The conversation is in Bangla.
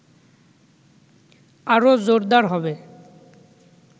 আরো জোরদার হবে